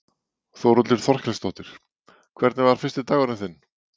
Þórhildur Þorkelsdóttir: Hvernig var fyrsti dagurinn þinn?